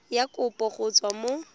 ya kopo go tswa mo